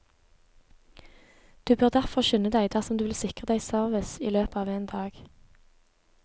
Du bør derfor skynde deg, dersom du vil sikre deg service i løpet av en dag.